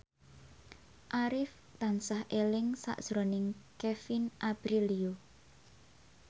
Arif tansah eling sakjroning Kevin Aprilio